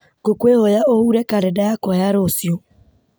ngũkwĩhoya ũhure karenda yakwa ya rũciũ